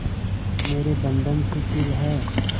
आज मेरे बंधन शिथिल हैं